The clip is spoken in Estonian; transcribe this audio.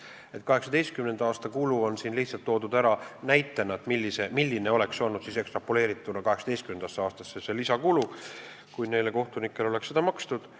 2018. aasta kulu on siin toodud ära lihtsalt näitena, milline oleks olnud see lisakulu ekstrapoleerituna 2018. aastasse, kui kohtunikele oleks seda makstud.